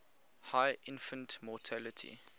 high infant mortality